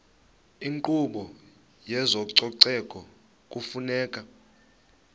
inkqubo yezococeko kufuneka